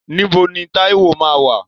Níbo ni Táíwò máa wà?